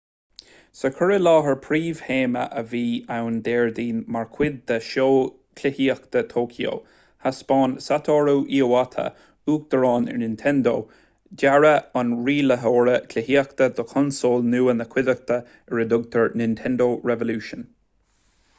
sa chur i láthair príomhthéama a bhí ann déardaoin mar chuid den seó cluichíochta thóiceo thaispeáin satoru iwata uachtarán ar nintendo dearadh an rialaitheora cluichíochta do chonsól nua na cuideachta ar a dtugtar nintendo revolution